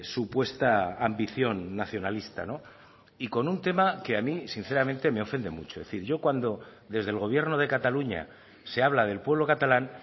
supuesta ambición nacionalista y con un tema que a mí sinceramente me ofende mucho es decir yo cuando desde el gobierno de cataluña se habla del pueblo catalán